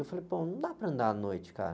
Eu falei, pô, não dá para andar à noite, cara.